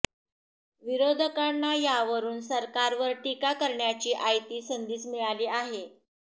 विरोधकांना यावरुन सरकारवर टीका करण्याची आयती संधीच मिळाली आहे